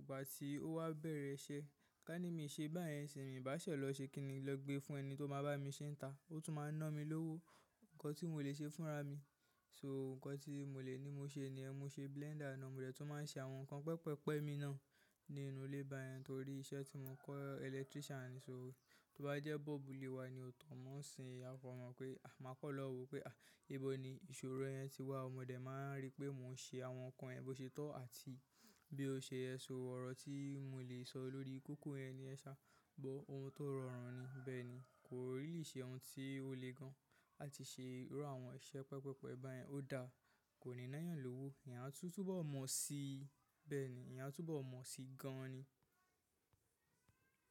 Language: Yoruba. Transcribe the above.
Ìgbà tí ó wá bẹ̀rẹ̀ iṣẹ́. Ká ní mi ṣe báyẹn nsin ni, n bàá ṣe lọ̀ ṣe kiní, lọ gbé fún ẹni tó máa bá mi ṣe ńita. Ó tún máa ń ná mi lówó. Ǹkan tí mò lè ṣe fúnra mi. So ǹkan tí mò lè ní mo ṣe niyẹ́n, mo ṣe blender náà. Mo dẹ̀ tún máa ń ṣe àwọn ǹkan pẹpẹ́pẹ́ mi náà nínú ilé báyẹn torí iṣẹ́ tí mo kọ́ electrician ni. So tó bájẹ́ bulb ilé wa ni ò tọ̀ mọ́ ńsìn. A kan mọ̀ pé máa kan lọ́wo pé ibo ni ìṣòro yẹn ti wà. Mo dé máa ń rí pé mò ń ṣe àwọn ǹkan yẹ̀n bo ṣe to àti bí ó ṣe yẹ. So ọ̀rọ̀ tí mò lè sọ lórí kókó yẹn niyẹn sá but ohun tó rọrùn ni. Bẹ́ẹ̀ni kò really ṣe ohun tí o lè gan làti ṣe irú àwọn iṣẹ́ pẹpẹ́pẹ́ báyẹn ó da. Kò ní ná eeyàn lówó. Eeyan tun tun bo mọ̀ sí, bẹ́ẹ̀ ni eeyan a tún bo mọ̀ sí gan ni.